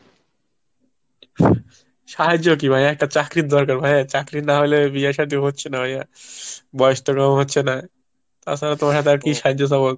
সাহায্য কি ভাই? একটা চাকরির দরকার ভাই। চাকরি না হলে বিয়ে শাদী হচ্ছে না ভাইয়া বয়স তো কম হচ্ছে না, তাছাড়া তোমার হাতে আর কি সাহায্য চাবো।